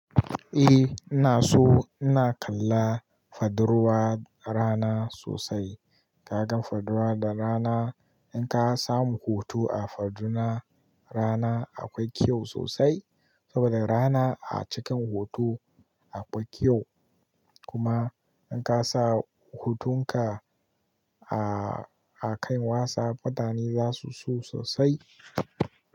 A ina so ina kalla fadiwar rana sosai. Ka gan fadiwar da rana in ka samu hoto a fadiwar rana akwai kyau sosai saboda rana a cikin hoto akwai kyau. Kuma in ka sa hotonka a, a kai wassaf, mutane za su so sosai.